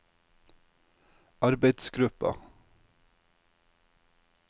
arbeidsgruppa